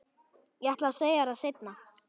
Ég ætlaði að segja þér það seinna.